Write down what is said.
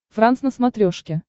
франс на смотрешке